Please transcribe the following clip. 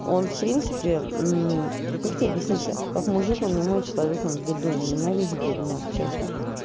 он в принципе как тебе объяснить то как мужик он не мой человек он блядун я ненавижу блядунов честно